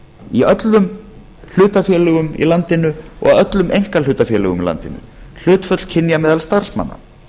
í öllum hlutafélögum í landinu og öllum einkahlutafélögum í landinu hlutföll kynja meðal starfsmanna